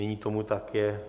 Nyní tomu tak je.